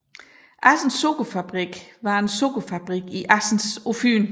Assens Sukkerfabrik var en sukkerfabrik i Assens på Fyn